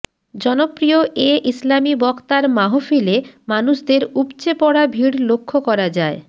জনপ্রিয় এ ইসলামি বক্তার মাহফিলে মানুষদের উপচেপড়া ভিড় লক্ষ্য করা যায়